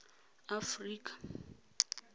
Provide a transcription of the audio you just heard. afrika